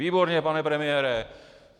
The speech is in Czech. Výborně, pane premiére!